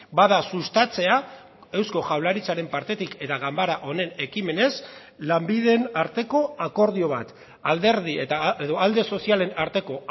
bada sustatzea eusko jaurlaritzaren partetik eta ganbara honen ekimenez lanbideen arteko akordio bat alderdi edo alde sozialen arteko